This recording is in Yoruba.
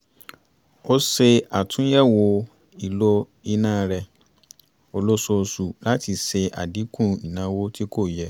ó ṣe àtúnyẹ̀wo ìlò iná rẹ olóṣooṣù láti ṣe àdínkù ìnáwó tí kò yẹ